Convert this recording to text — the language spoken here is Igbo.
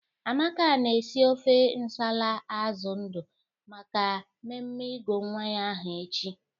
Amaka na-esi ofe nsala azụ ndụ maka mmemme ịgụ nwa ya aha echi.